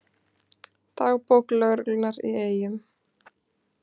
Dagbók lögreglunnar í Eyjum